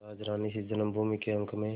राजरानीसी जन्मभूमि के अंक में